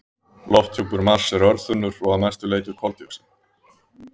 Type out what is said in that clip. Lofthjúpur Mars er örþunnur og að mestu leyti úr koldíoxíði.